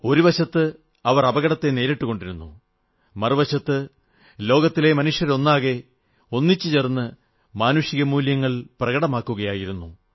ഒരു വശത്ത് അവർ അപകടത്തെ നേരിട്ടുകൊണ്ടിരുന്നു മറുവശത്ത് ലോകത്തിലെ മനുഷ്യരൊന്നാകെ ഒരുമിച്ചു ചേർന്ന് മാനുഷികമൂല്യങ്ങൾ പ്രകടമാക്കുകയായിരുന്നു